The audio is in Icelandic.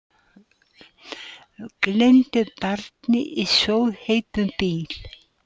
Gleymdi barni í sjóðheitum bíl